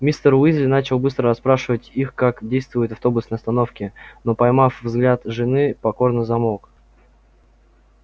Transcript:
мистер уизли начал было расспрашивать их как действуют автобусные остановки но поймав взгляд жены покорно замолк